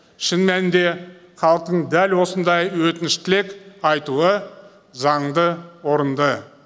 шын мәнінде халықтың дәл осындай өтініш тілек айтуы заңды орынды